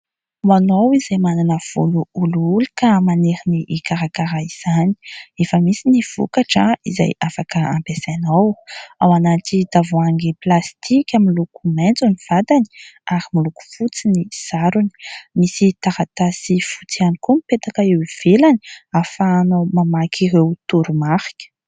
Ho anao izay manana volo olioly ka maniry iikarakara izany. Efa misy ny vokatra izay afaka ampiasainao. Ao anaty tavoahangy plastika miloko maintso ny vatany ary miloko fotsy ny sarony. Misy taratasy fotsy ihany koa mipetaka eo ivelany, ahafahanao mamaky ireo toromarika.